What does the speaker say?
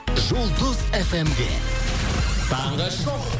жұлдыз фм де таңғы шоу